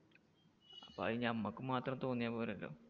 അത് നമ്മക്ക് മാത്രം തോന്നിയാൽ പോരല്ലോ.